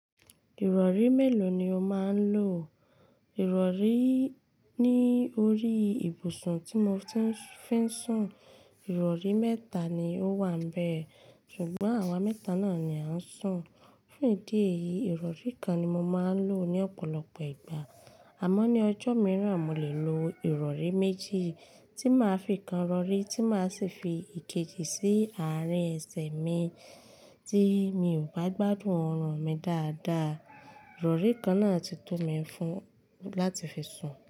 Ìrọ̀rí mélòó ni o máa ń lò? Ìrọ̀rí ní orí ìbùsùn tí mo fi ń sùn, ìrọ̀rí mẹ́ta ni ó wà níbẹ̀, ṣùgbọ́n àwa mẹ́ta náà ni a ń sùn. Fún ìdí èyí, ìrọ̀rí kan ni mo máa ń lò ní ọ̀pọ̀lọpọ̀ ìgbà, àmọ́ ní ọjọ́ mìíràn, mo lè lo ìrọ̀rí méjì tí màá fi kan rọrí tí màá sì fi ìkejì sí àárín ẹsẹ̀ mi tí mi ò bá gbádùn ọrùn mi dáadáa. Ìrọ̀rí kan náà ti tó mi fún láti fi sùn.